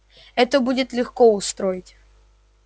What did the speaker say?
это будет легко устроить